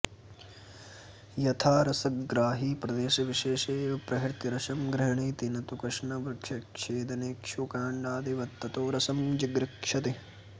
यथा रसग्राही प्रदेशविशेषे एव प्रहृत्य रसं गृह्णीति नतु कृत्स्नवृक्षच्छेदेनेक्षुकाण्डादिवत्ततो रसं जिघृक्षति